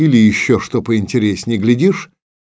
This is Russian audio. или ещё что поинтереснее глядишь